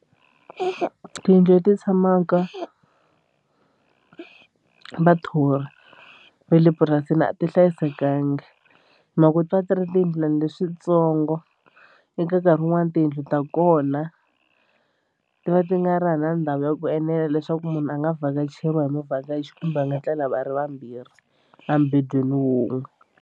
Tiyindlu leti tshamaka vathori va le purasini a ti hlayisekanga hi mhaka ku ti va ti ri tiyindlwani leswitsongo eka nkarhi wun'wani tiyindlu ta kona ti va ti nga ri hava na ndhawu ya ku enela leswaku munhu a nga vhakacheriwa hi muvhakachi kumbe a nga tlela va ri vambirhi embendweni wun'we.